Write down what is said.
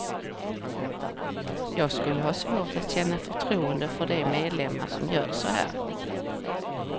Jag skulle ha svårt att känna förtroende för de medlemmar som gör så här.